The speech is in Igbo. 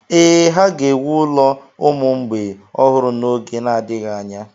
Ee, ha ga-ewu ụlọ ụmụ mgbei ọhụrụ n’oge na-adịghị anya.